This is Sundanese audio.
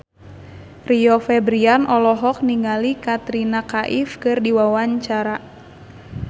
Rio Febrian olohok ningali Katrina Kaif keur diwawancara